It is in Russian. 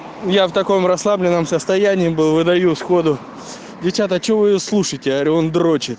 я в таком расслабленном состоянии был выдают сходу девчата че вы её слушаете говорю он дрочит